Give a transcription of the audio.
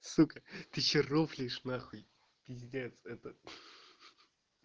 сука ты что рофлишь на хуй пиздец это